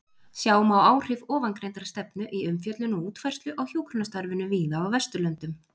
Sjá má áhrif ofangreindrar stefnu í umfjöllun og útfærslu á hjúkrunarstarfinu víða á Vesturlöndum.